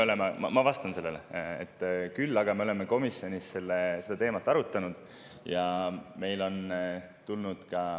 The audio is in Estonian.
Ma vastan sellele, sest me oleme komisjonis seda teemat arutanud.